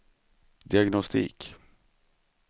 diagnostik